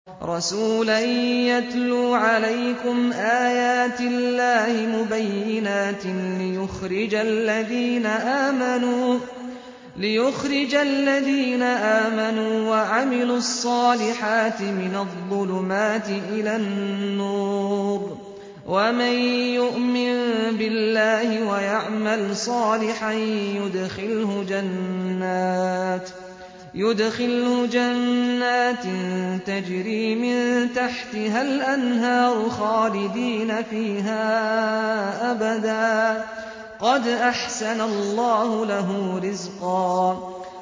رَّسُولًا يَتْلُو عَلَيْكُمْ آيَاتِ اللَّهِ مُبَيِّنَاتٍ لِّيُخْرِجَ الَّذِينَ آمَنُوا وَعَمِلُوا الصَّالِحَاتِ مِنَ الظُّلُمَاتِ إِلَى النُّورِ ۚ وَمَن يُؤْمِن بِاللَّهِ وَيَعْمَلْ صَالِحًا يُدْخِلْهُ جَنَّاتٍ تَجْرِي مِن تَحْتِهَا الْأَنْهَارُ خَالِدِينَ فِيهَا أَبَدًا ۖ قَدْ أَحْسَنَ اللَّهُ لَهُ رِزْقًا